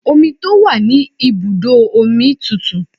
Omi tó wà ní ibùdó omi tùtù.